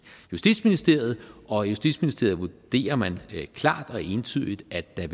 justitsministeriet og i justitsministeriet vurderer man klart og entydigt at der